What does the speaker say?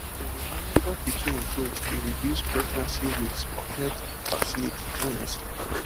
to dey monitor pikin growth dey reduce pregnancy risks for health facilities honestly